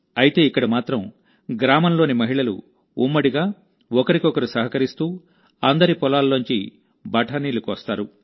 అయితే ఇక్కడ మాత్రం గ్రామంలోని మహిళలు ఉమ్మడిగా ఒకరికొకరు సహకరిస్తూ అందరి పొలాలలోంచి బఠానీలు కోస్తారు